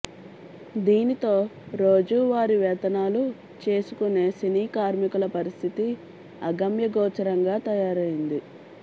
దీనితో రోజు వారీ వేతనాలు చేసుకునే సినీ కార్మికుల పరిస్థితి అగమ్యగోచరంగా తయారైంది